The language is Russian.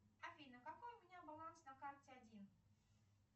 афина какой у меня баланс на карте один